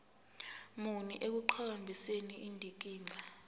muni ekuqhakambiseni indikimba